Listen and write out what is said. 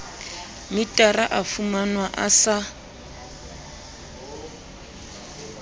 metara o fumanwa o sa